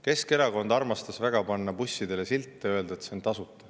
Keskerakond armastas väga panna bussidele silte ja öelda, et see on tasuta.